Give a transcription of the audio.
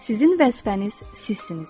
Sizin vəzifəniz sizsiniz.